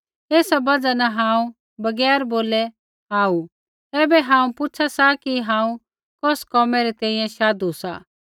एसा बजहा न हांऊँ बगैर बोलै आऊ ऐबै हांऊँ पुछ़ा सा कि हांऊँ कौस कोमै री तैंईंयैं शाधु सा